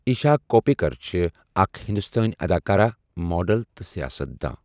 ایٖشا کوپِیکَر چھےٚ اَکھ ہِنٛدستٲنہِ اَداکارہ، ماڈل تہٕ سِیاست دان۔